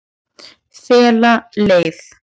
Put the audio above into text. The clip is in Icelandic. Fela leið